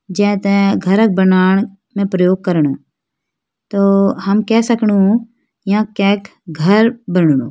जें तें घर बनोंण में प्रयोग करणु तो हम केह सकणु यां कैक घर बणनु।